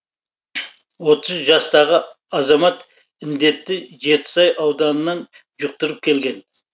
отыз жастағы азамат індетті жетісай ауданынан жұқтырып келген